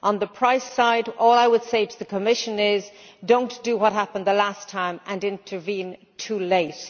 On the price side, all I would say to the Commission is do not do what happened the last time and intervene too late.